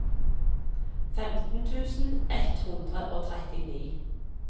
femten tusen ett hundre og trettini